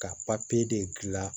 Ka papiye de dilan